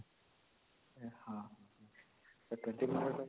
ଆଉ 20 minute